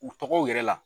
U tɔgɔw yɛrɛ la